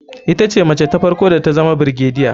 Ita ce mace ta farko da tazama brigadier.